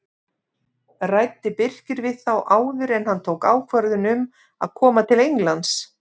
Ræddi Birkir við þá áður en hann tók ákvörðun um að koma til Englands?